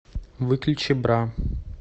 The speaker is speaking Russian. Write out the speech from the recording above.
выключи бра